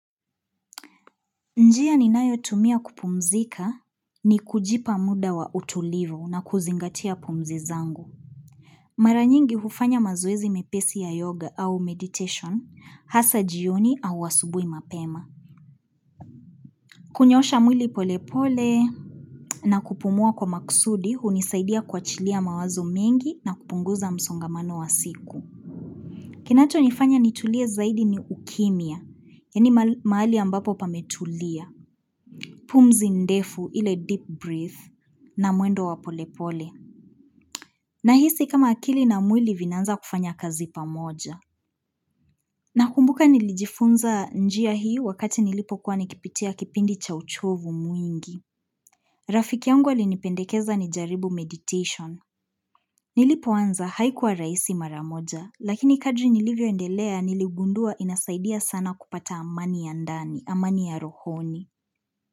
Njia ninayotumia kupumzika ni kujipa muda wa utulivu na kuzingatia pumzi zangu. Mara nyingi hufanya mazoezi mepesi ya yoga au meditation, hasa jioni au asubuhi mapema. Kunyoosha mwili polepole na kupumua kwa maksudi hunisaidia kuachilia mawazo mengi na kupunguza msongamano wa siku. Kinachonifanya nitulie zaidi ni kukimya, yaani mahali ambapo pametulia. Pumzi ndefu ile deep breath na mwendo wa polepole. Nahisi kama akili na mwili vinaanza kufanya kazi pamoja. Nakumbuka nilijifunza njia hii wakati nilipokuwa nikipitia kipindi cha uchovu mwingi. Rafiki yangu alinipendekeza nijaribu meditation. Nilipoanza haikuwa rahisi maramoja, lakini kadri nilivyoendelea niligundua inasaidia sana kupata amani ya ndani, amani ya rohoni.